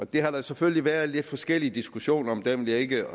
det har der selvfølgelig været lidt forskellige diskussioner om dem vil jeg ikke